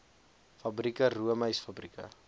fabrieke roomys fabrieke